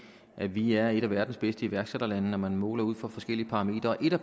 at vi er et af verdens bedste iværksætterlande når man måler ud fra forskellige parametre og et af